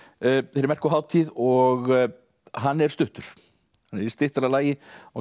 þeirri merku hátíð og hann er stuttur í styttra lagi og